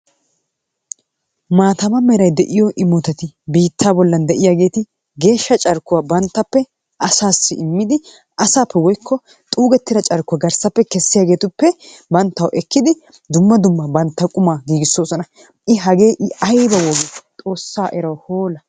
Maataama de'iyo immotatti biittaa bollan de'iyaageti geeshsha carkkuwa bantappe asassi immidi asaappe woykko xuugettida carkkuwa garsaappe kessiyaageetuppe banttawu ekkidi dumma dumma bantta qumaa kessoosona. i hagee aybabee xoossaa erawu hoola.